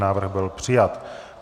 Návrh byl přijat.